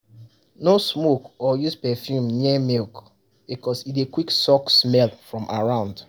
no smoke or use perfume near milk because e dey quick suck smell from around.